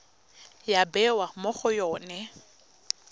ya bewa mo go yone